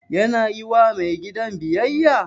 Yana yi wa mai gidan biyayya?